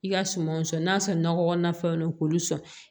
I ka sumanw sɔn n'a sɔrɔ nɔgɔkɔna fɛnw na k'olu sɔn